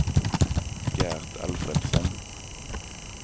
Gert Alfredsson